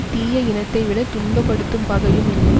தீய இனத்தைவிட துன்பப்படுத்தும் பகையும் இல்லை